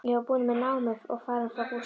Ég var búin með námið og farin frá Gústa.